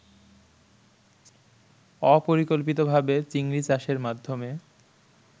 অপরিকল্পিতভাবে চিংড়ি চাষের মাধ্যমে